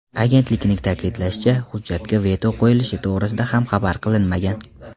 Agentlikning ta’kidlashicha, hujjatga veto qo‘yilishi to‘g‘risida ham xabar qilinmagan.